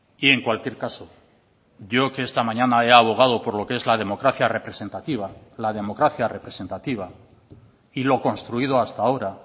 y en cualquier caso yo que esta mañana he abogado por lo que es la democracia representativa la democracia representativa y lo construido hasta ahora